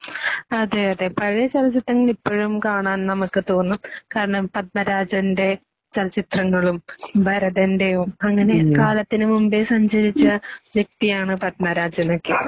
അതേയതേ. പഴയ ചലച്ചിത്രങ്ങളിപ്പഴും കാണാൻ നമുക്ക് തോന്നും. കാരണം പദ്‌മരാജന്റെ ചലച്ചിത്രങ്ങളും ഭരതന്റേയും അങ്ങനെ കാലത്തിനുമുമ്പേ സഞ്ചരിച്ച വ്യക്തിയാണ് പദ്‌മരാജനൊക്കെ